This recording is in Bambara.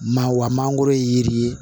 Maa wa mangoro ye yiri ye